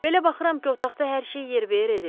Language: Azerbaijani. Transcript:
Belə baxıram ki, otaqda hər şey yerbəyer edilib.